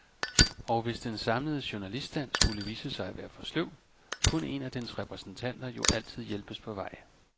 Og hvis den samlede journaliststand skulle vise sig at være for sløv, kunne en af dens repræsentanter jo altid hjælpes på vej.